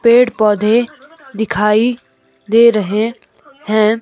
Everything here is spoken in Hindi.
पेड़ पौधे दिखाई दे रहे हैं।